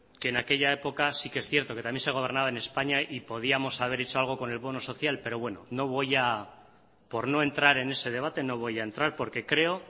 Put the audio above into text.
que en aquella época sí que es cierto que también se gobernaba en españa y podíamos haber hecho algo con el bono social pero bueno no voy a por no entrar en ese debate no voy a entrar porque creo